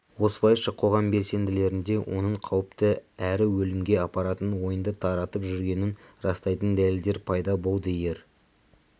осылайша қоғам белсенділерінде оның қауіпті әрі өлімге апаратын ойынды таратып жүргенін растайтын дәлелдер пайда болды ер